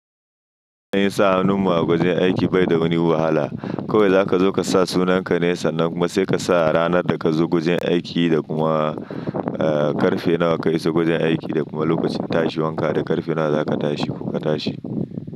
Ai sa hannun mu a wajen aiki bai da wani wahala. Kawai zaka zo ka sa sunan ka ne, sannan kuma sai ka sa ranar da kazo wajen aiki da kuma, eh k'ƙarfe nawa kayi iso wajen aiki da kuma lokacin tashi wanka, da ƙarfe nawa zaka tashi ko ka tashi.